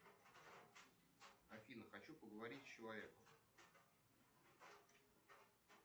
афина хочу поговорить с человеком